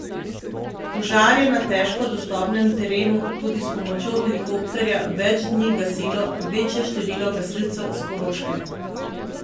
Požar je na težko dostopnem terenu tudi s pomočjo helikopterja več dni gasilo večje število gasilcev s Koroške.